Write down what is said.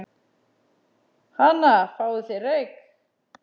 Hana, fáðu þér reyk